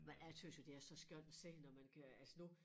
Men jeg tøs jo det er så skønt at se når man kan altså nu